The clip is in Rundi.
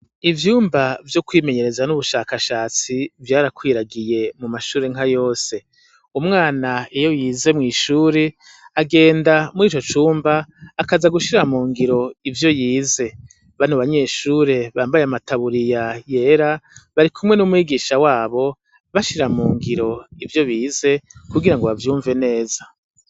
Ivyumba vyo kwimenyereza n'ubushakashatsi vyarakwiragiye mu mashure nka yose umwana eyo yize mw'ishure agenda muri ico cumba akaza gushira mu ngiro ivyo yize bani u banyeshure bambaye amataburiya yera bari kumwe n'umwigisha wabo bashira mu ngiro ivyo bize kugira ngo bavyumve neza.